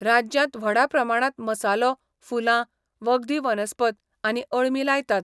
राज्यांत व्हडा प्रमाणांत मसालो, फुलां, वखदी वनस्पत आनी अळमीं लायतात.